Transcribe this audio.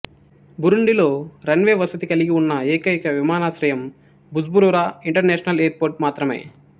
బురుండిలో runway వసతి కలిగి ఉన్న ఏకైక విమానాశ్రయం బుజ్బురురా ఇంటర్నేషనల్ ఎయిర్పోర్ట్ మాత్రమే